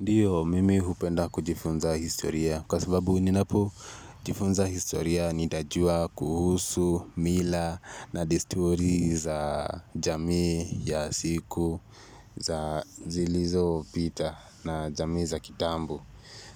Ndiyo, mimi hupenda kujifunza historia, kwa sababu ninapo jifunza historia nitajua kuhusu, mila, na desturi za jamii ya siku za zilizopita na jamii za kitambo.